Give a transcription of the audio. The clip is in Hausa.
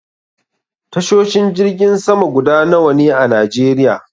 Tashoshin jirgin sama guda nawa ne a najeriya?